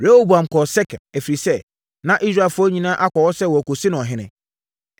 Rehoboam kɔɔ Sekem, ɛfiri sɛ, na Israelfoɔ nyinaa akɔ hɔ sɛ wɔrekɔsi no ɔhene.